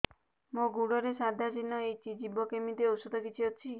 ମୋ ଗୁଡ଼ରେ ସାଧା ଚିହ୍ନ ହେଇଚି ଯିବ କେମିତି ଔଷଧ କିଛି ଅଛି